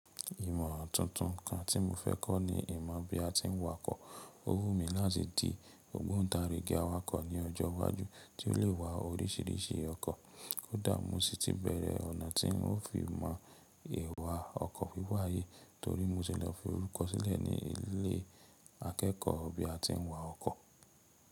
Ìmọ̀ tuntun kan tí mo fẹ́ kọ́ ni ìmọ̀ bí a tí ń wakọ̀. Ó wù mí láti di ògbóǹtarìgì awakọ̀ ní ọjọ́ iwájú, tí ó lè wa oríṣìíríṣìí ọkọ̀. Kódà mo sì ti bẹ̀rẹ̀ ọ̀nà tí ń ó fi mọ èèwà ọkọ̀ torí mo ti lọ fi orúkọ sílẹ̀ ní ilé akẹ́kọ̀ọ́ bí a tí ń wa ọkọ̀.